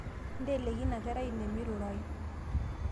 inteleiki ina kerai ine meirurayu